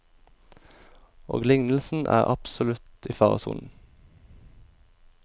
Og lignelsen er absolutt i faresonen.